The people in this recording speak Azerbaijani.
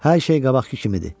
Hər şey qabaqkı kimidir.